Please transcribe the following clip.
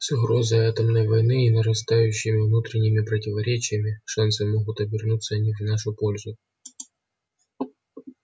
с угрозой атомной войны и нарастающими внутренними противоречиями шансы могут обернуться не в нашу пользу